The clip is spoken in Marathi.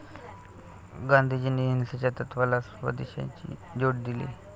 गांधीजींनी अहिंसेच्या तत्वाला स्वदेशची जोड दिली.